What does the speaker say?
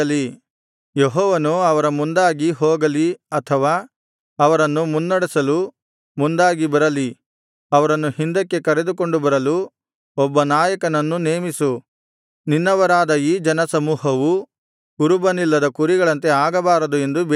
ಯೆಹೋವನು ಅವರ ಮುಂದಾಗಿ ಹೋಗಲಿ ಅಥವಾ ಅವರನ್ನು ಮುನ್ನಡೆಸಲು ಮುಂದಾಗಿ ಬರಲಿ ಅವರನ್ನು ಹಿಂದಕ್ಕೆ ಕರೆದುಕೊಂಡು ಬರಲು ಒಬ್ಬ ನಾಯಕನನ್ನು ನೇಮಿಸು ನಿನ್ನವರಾದ ಈ ಜನ ಸಮೂಹವು ಕುರುಬನಿಲ್ಲದ ಕುರಿಗಳಂತೆ ಆಗಬಾರದು ಎಂದು ಬೇಡಿದನು